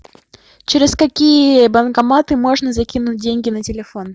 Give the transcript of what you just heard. через какие банкоматы можно закинуть деньги на телефон